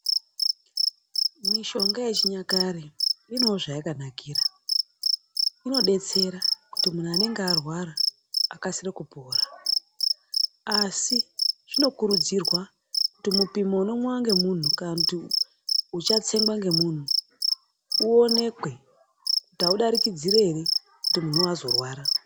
Mishonga yechinyakare inewo zvayakanakira. Unodetsera kuti munhu anenge arwara akasire kupora asi zvinokurudzirwa kuti mupimo unomwiwa ngemunhu kana kuti uchatsengwa ngemunhu uonekwe kuti audarikidziri ere kuti munhu azorwara.